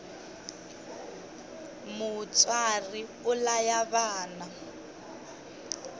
mutswari u laya vana